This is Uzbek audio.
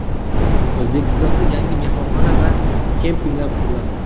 O‘zbekistonda yangi mehmonxona va kempinglar quriladi.